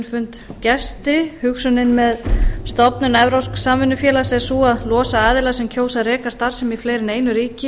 fund gesti hugsunin með stofnun evrópsks samvinnufélags er sú að losa aðila sem kjósa að reka starfsemi í fleiri en einu ríki